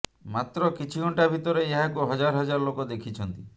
ମାତ୍ର କିଛି ଘଂଟା ଭିତରେ ଏହାକୁ ହଜାର ହଜାର ଲୋକ ଦେଖିଛନ୍ତି